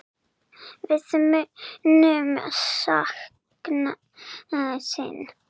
Við munum sakna þín.